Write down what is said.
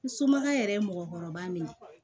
N somɔgɔw yɛrɛ ye mɔgɔkɔrɔba min ye